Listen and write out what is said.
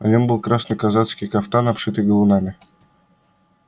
на нём был красный казацкий кафтан обшитый галунами